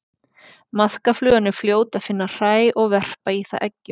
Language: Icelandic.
maðkaflugan er fljót að finna hræ og verpa í það eggjum